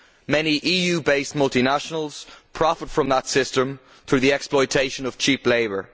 Many EU based multinationals profit from that system through the exploitation of cheap labour.